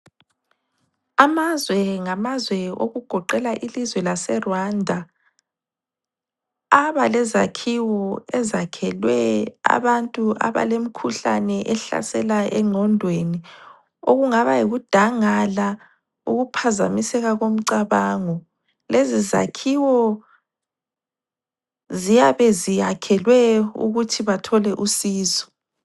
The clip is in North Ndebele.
Amazwe ngamazwe okugoqela ilizwe laseRwanda, abalezakhiwo ezakhelwe abantu abalemikhuhlane ehlasela engqondweni, okungaba yikudangala ukuphazamiseka komcabango. Lezi zakhiwo ziyabe ziyakhelwe ukuthi bathole usizo.